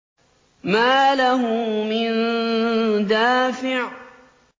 مَّا لَهُ مِن دَافِعٍ